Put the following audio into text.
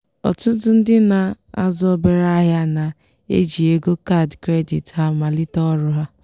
ọtụtụ ndị na-azụ obere ahịa na-eji ego kaadị kredit ha malite ọrụ ha.